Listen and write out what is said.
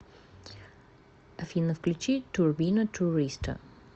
афина включи турбина туриста